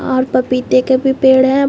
और पपीते के भी पेड़ है।